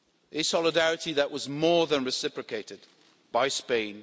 a solidarity that was more than reciprocated by Spain.